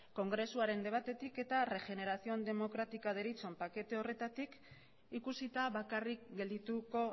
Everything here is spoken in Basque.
kongresuaren debatetik eta regeneración democrática deritzon pakete horretatik ikusita bakarrik geldituko